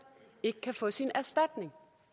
ikke kan få sin at